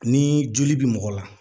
Ni joli bɛ mɔgɔ la